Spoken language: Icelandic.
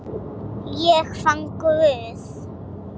Ég fann Guð.